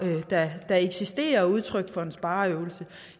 der eksisterer er udtryk for en spareøvelse